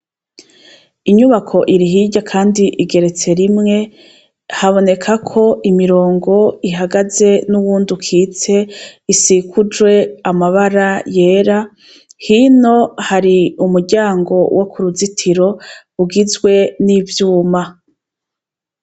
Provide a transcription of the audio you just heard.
Inyubako iri hirya kandi igeretse rimwe. Habonekako imirongo ihagaze n'uwundi ukitse isikujwe amabara yera, hino hari umuryango wo ku ruzitiro ugizwe n'ivyuma.